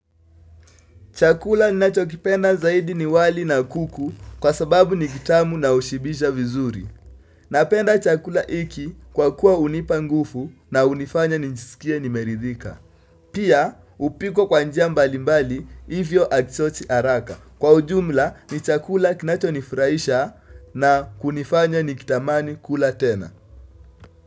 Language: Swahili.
Chakula ninacho kipenda zaidi ni wali na kuku kwa sababu ni kitamu na ushibisha vizuri. Napenda chakula iki kwa kuwa unipangufu na unifanya ninjisikie nimeridhika. Pia upikwa kwa njia mbali mbali hivyo akichoti araka. Kwa ujumla ni chakula kinacho nifuraisha na kunifanya nikitamani kula tena.